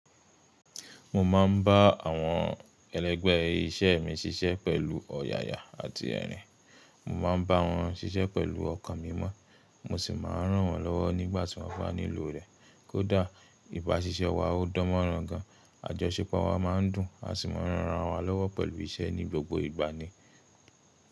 Mo máa ń bá àwọn ẹlẹ́gbẹ̀ iṣẹ́ mi ṣiṣẹ́ pẹ̀lú ọ̀yàyà àti ẹ̀rín. Mo máa ń bá wọn ṣiṣẹ́ pẹ̀lú ọkàn mí mọ́, mo sì máa ń rán wọn lọ́wọ́ nígbà tí wọ́n bá nílò rẹ̀. Kódà ìbá ṣiṣẹ́ wa ó dánmọ́rán gan, àjọṣepọ̀ wa máa ń dùn, a sì máa ń ran ara wa lọ́wọ́ pẹ̀lú iṣẹ́ ní gbogbo ìgbà ni.